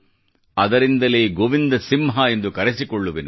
ಅದರಿಂದಲೇ ಗೋವಿಂದ ಸಿಂಹ ಎಂದು ಕರೆಸಿಕೊಳ್ಳುವೆನು